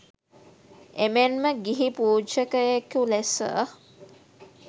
එමෙන්ම ගිහි පූජකයෙකු ලෙස